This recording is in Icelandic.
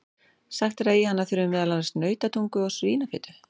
Sagt er að í hana þurfi meðal annars nautatungu og svínafitu.